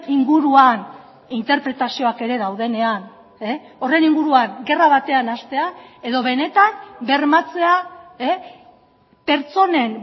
inguruan interpretazioak ere daudenean horren inguruan gerra batean hastea edo benetan bermatzea pertsonen